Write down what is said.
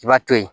I b'a to ye